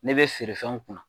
Ne bɛ feerefɛnw kunna